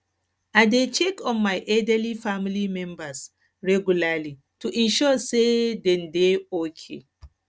i dey check on my elderly family members regularly to ensure sey dem dey okay